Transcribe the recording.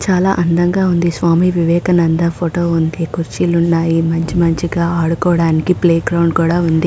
చాలా అందంగా ఉంది. స్వామి వివేకానంద ఫోటో ఉంది. కుర్చీలు ఉన్నాయి. మంచి మంచిగా ఆడుకోవడానికి ప్లే గ్రౌండ్ కూడా ఉంది.